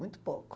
Muito pouco.